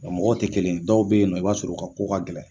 Nka mɔgɔw tɛ kelen ye dɔw bɛ yen i b'a sɔrɔ u ka ko ka gɛlɛn